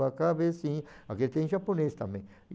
tua cabecinha, só que tem em japonês também.